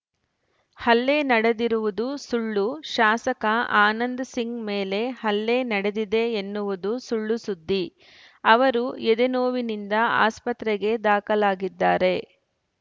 ಹಲ್ಲೆ ನಡೆದಿರುವುದು ಸುಳ್ಳು ಶಾಸಕ ಆನಂದ್‌ ಸಿಂಗ್‌ ಮೇಲೆ ಹಲ್ಲೆ ನಡೆದಿದೆ ಎನ್ನುವುದು ಸುಳ್ಳು ಸುದ್ದಿ ಅವರು ಎದೆನೋವಿನಿಂದ ಆಸ್ಪತ್ರೆಗೆ ದಾಖಲಾಗಿದ್ದಾರೆ